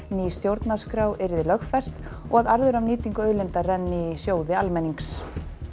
ný stjórnarskrá yrði lögfest og að arður af nýtingu auðlinda renni í sjóði almennings